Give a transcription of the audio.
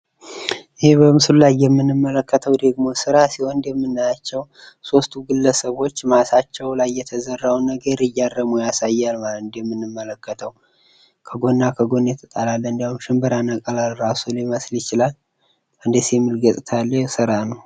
ይህ በምስሉ ላይ የምንመለከተው ስራ ደግሞ እንደምናያቸው ሶስቱ ግለሰቦች ማሳቸው ላይ የተዘራውን ነገር እያረሙ ያሳያል ማለት ነው። እንደምንመለከተው ከጎን እና ከጎን ተቀምጠው ሽንብራ ነቀላን እራሱ እየነቀሉ ሊመስል ይችላል። ደስ የሚል ገጽታ ያለው ስራ ነው።